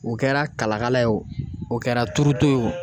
O kɛra kalakala ye wo,o kɛra turuto ye wo